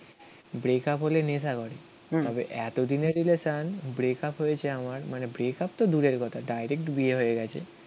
Breakup হলে নেশা করে তবে এতদিনের রিলেশন ব্রেকআপ হয়েছে আমার. মানে ব্রেকআপ তো দূরের কথা. ডাইরেক্ট বিয়ে হয়ে গেছে.